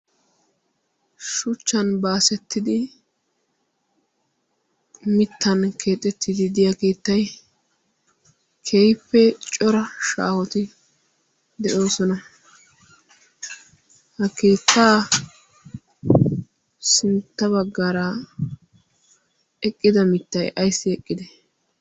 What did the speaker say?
shuchchan baasettidi mittan keexettididiya keettai keifee cora shaahoti de'oosona ha keettaa sinttabaggaraa eqqida mittay aissi eqqide